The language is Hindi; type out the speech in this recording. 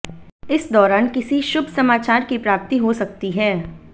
इस दौरान किसी शुभ समाचार की प्राप्ति हो सकती है